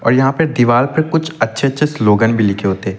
यहां पे दीवाल पे कुछ अच्छे-अच्छे स्लोगन भी लिखे होते --